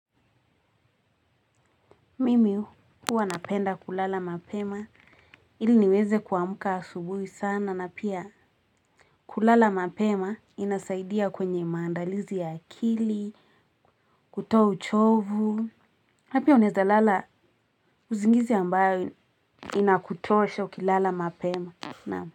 Mimi huwa napenda kulala mapema ili niweze kuamka asubuhi sana na pia kulala mapema inasaidia kwenye maandalizi ya akili kutoa uchovu napia unaeza lala uzingizi ambayo inakutosha ukilala mapema naam.